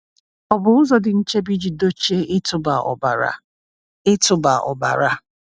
Ọ̀ bụ ụzọ dị nchebe iji dochie ịtụba ọbara? ịtụba ọbara?